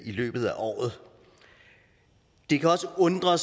løbet af året det kan også undre